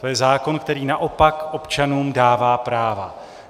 To je zákon, který naopak občanům dává práva.